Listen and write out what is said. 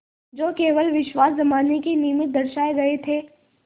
जो केवल विश्वास जमाने के निमित्त दर्शाये गये थे